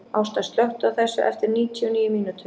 Ásta, slökktu á þessu eftir níutíu og níu mínútur.